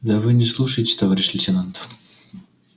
да вы не слушаете товарищ лейтенант